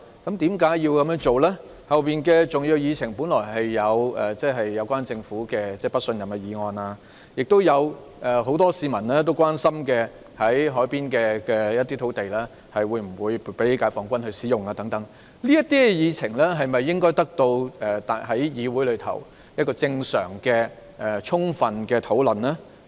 及後的重要議程項目包括對政府的不信任議案，以及很多市民關心的海濱用土地撥給解放軍使用的安排等，這些議程項目應在議會中得到正常和充分的討論。